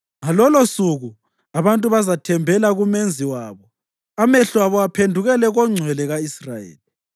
Ngalolosuku abantu bazathembela kuMenzi wabo amehlo abo aphendukele koNgcwele ka-Israyeli.